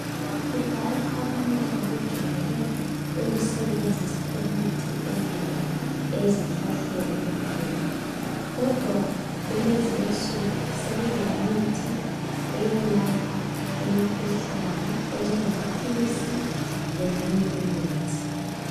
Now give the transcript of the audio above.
Udala abantu babejwayele imithi evela ezihlahleni kuphela. Kodwa kulezi insuku sokule mithi eyelapha imikhuhlane enje ngapilisi, leminye imithi.